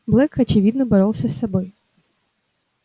блэк очевидно боролся с собой